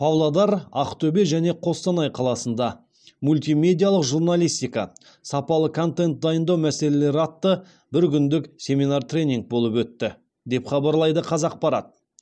павлодар ақтөбе және қостанай қаласында мультимедиалық журналистика сапалы контент дайындау мәселелері атты бір күндік семинар тренинг болып өтті деп хабарлайды қазақпарат